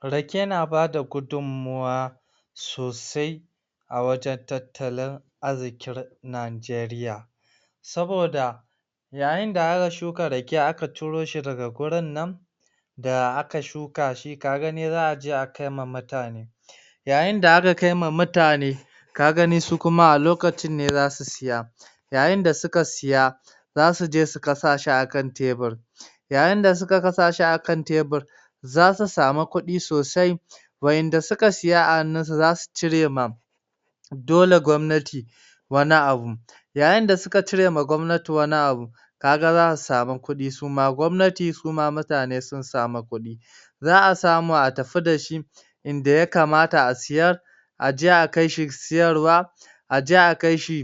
Rake na bada gudummawa sosai a wajen tattalin arzikin Najeriya. Saboda yayinda aka shuka rake aka ciro shi daga gurinnan da aka shuka shi, kaga za a akai ma mutane yayinda aka kai ma mutane kagani su kuma a lokacin ne za su siya yayinda suka siya za suje su kasa shi a kan tebir yayinda suka kasa shi a kan tebir, za su samu kudi sosai waɗanda suka siya awajen su za su cire ma dole gwamnati wani abu yayinda suka cire ma gwamnati wani abu kaga za a samu kuɗi suma gwamnati suma mutane sun sama kuɗi za a samu a tafi da shi inda ya kamata a siyar a je a kai shi siyarwa a je a kai shi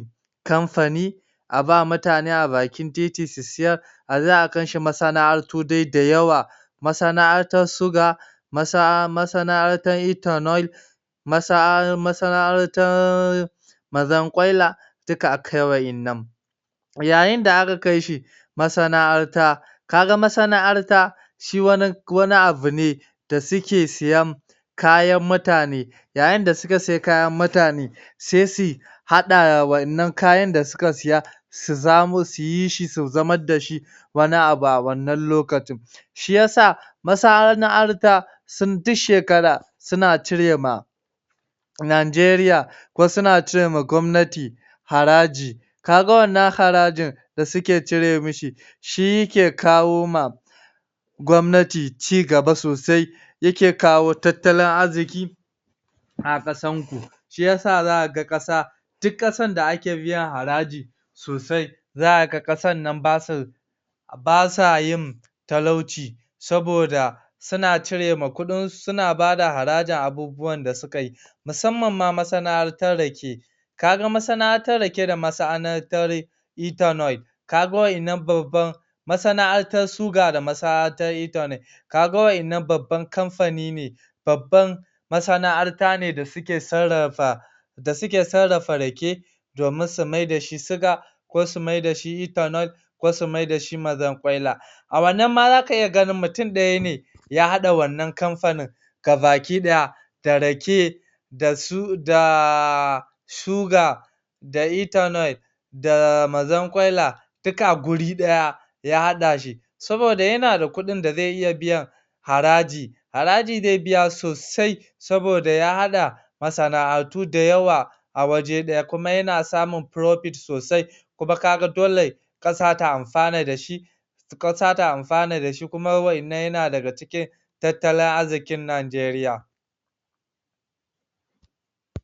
kamfani a ba mutane a bakin titi su siyar a je a kai shi masana'antu dai dayawa masana'antar siga, masana'antar ethanol masana'antar mazankwaila, duka a kai waɗannan yayinda aka kaishi masana'anta kaga masana'arta shi wani abu ne da suke siyan kayan mutane. Yayinda suka siya kayan mutane sai su haɗa wannan kayan da suka siya su yi shi su zamar da shi wani abu a wannan lokacin. Shiyasa masana'arta duk shekara suna cire ma Najeriya ko suna cire ma gwamnati haraji kaga wannan harajin da suke cire mishi, shi yake kawo ma gwamnati cigaba sosai yake kawo tattalin arziki a kasan ku. Shiyasa za kaga ƙasa, duk ƙasan da ake biyan haraji sosai za a ga ƙasan nan basu basa yin talauci saboda suna cire ma kudin su, suna bada harajin abubuwan da suka yi musamman ma masana'antar rake kaga masana'antar rake da masana'antar ethanol kaga wadannan babban masana'antar siga da masana'antar ethanol kaga wadannan babban kamfani ne babban masana'anta ne da suke sarrafa da suke sarrafa rake domin su maida shi siga ko su maida shi ethanol ko su maida shi mazankwaila A wannan ma zaka iya ganin mutum daya ne ya haɗa wannan kamfanin gabaɗaya da rake da su da um siga da ethanol da mazankwaila duk a wuri ɗaya ya haɗa shi saboda yana da kuɗin da zai iya biya haraji haraji zai biya sosai saboda ya haɗa masana'antu da yawa a waje ɗaya kuma yana samun profit (riba) sosai kuma kaga dole kasa ta amfana da shi kasa ta amfana da shi kuma waɗannan yana cikin tattalin arzikin Najeriya.